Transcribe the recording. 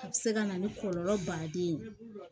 A bɛ se ka na ni kɔlɔlɔ baden ye